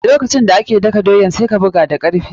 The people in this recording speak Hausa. Lokacin da ake daka doyan, sai ka buga da karfi.